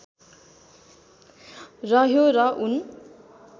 रह्यो र ऊन